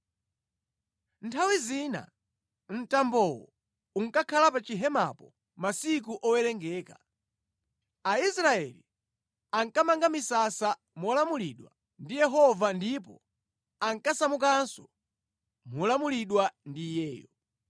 Nthawi zina mtambowo unkakhala pa chihemapo masiku owerengeka. Aisraeli ankamanga misasa molamulidwa ndi Yehova ndipo ankasamukanso molamulidwa ndi Iyeyo.